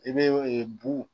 I bɛ bu